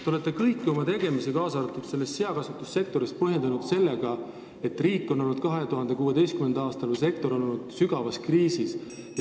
Te olete kõiki oma tegemisi, kaasa arvatud seakasvatussektoris, põhjendanud sellega, et sektor oli 2016. aastal sügavas kriisis.